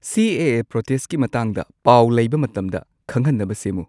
ꯁꯤ A A ꯄ꯭ꯔꯣꯇꯦꯁꯠꯀꯤ ꯃꯇꯥꯡꯗ ꯄꯥꯎ ꯂꯩꯕ ꯃꯇꯝꯗ ꯈꯪꯍꯟꯅꯕ ꯁꯦꯝꯃꯨ